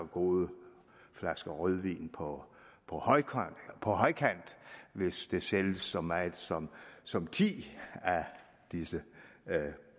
gode flasker rødvin på på højkant hvis der sælges så meget som som ti af disse